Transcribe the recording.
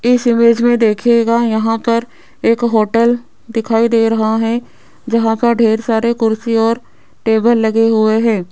इस इमेज में देखिएगा यहां पर एक होटल दिखाई दे रहा है जहां का ढेर सारे कुर्सी और टेबल लगे हुए हैं।